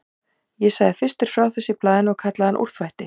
Ég sagði fyrstur frá þessu í blaðinu og kallaði hann úrþvætti.